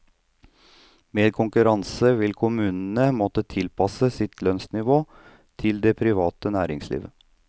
Med konkurranse vil kommunen måtte tilpasse sitt lønnsnivå til det private næringsliv.